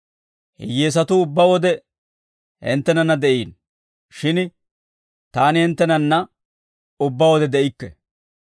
Hiyyeesatuu ubbaa wode hinttenanna de'iino; shin taani hinttenanna ubbaa wode de'ikke;